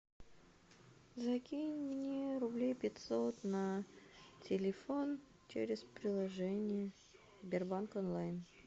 закинь мне рублей пятьсот на телефон через приложение сбербанк онлайн